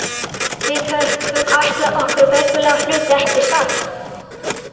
Við höfum ætlað okkur veglegri hlut, ekki satt?